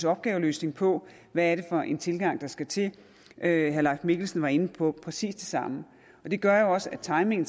opgaveløsning på hvad er det for en tilgang der skal til herre leif mikkelsen var inde på præcis det samme det gør jo også at timingen